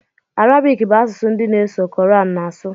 Arabic bụ asụsụ ndi n'eso Quran na asu